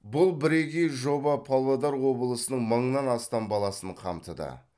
бұл бірегей жоба павлодар облысының мыңнан астам баласын қамтыды